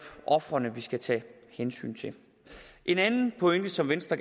ofrene vi skal tage hensyn til en anden pointe som venstre